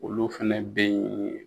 Olu fɛn be yen